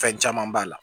Fɛn caman b'a la